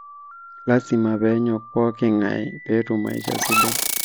lazima peenyok pookin ngaie peetum maisha sidai